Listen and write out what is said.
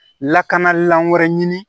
Lakanalan wɛrɛ ɲini